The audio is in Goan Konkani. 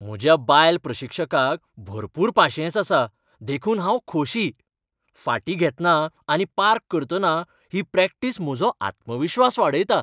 म्हज्या बायल प्रशिक्षकाक भरपूर पाशियेंस आसा देखून हांव खोशी, फाटीं घेतना आनी पार्क करतना ही प्रॅक्टिस म्हजो आत्मविश्वास वाडयता.